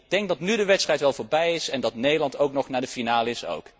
Ik denk dat nu de wedstrijd wel voorbij is en dat Nederland ook nog naar de finale is.